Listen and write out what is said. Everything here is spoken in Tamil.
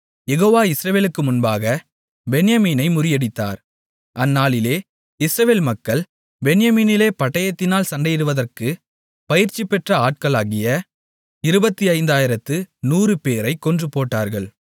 யெகோவா இஸ்ரவேலுக்கு முன்பாகப் பென்யமீனை முறியடித்தார் அந்நாளிலே இஸ்ரவேல் மக்கள் பென்யமீனிலே பட்டயத்தினால் சண்டையிடுவதற்குப் பயிற்சிபெற்ற ஆட்களாகிய 25100 பேரைக் கொன்றுபோட்டார்கள்